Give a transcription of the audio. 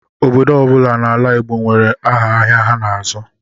Obodo ọbula n'ala Igbo nwere áhà ahịa ha n'azụ.